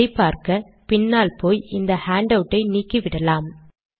அதை பார்க்க வேண்டுமானால் பின்னால் போய் இந்த ஹேண்டவுட் ஐ நீக்கிவிடலாம்